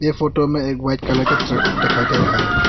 ये फोटो में एक वाइट कलर कलर का ट्रक दिखाई दे रहा है।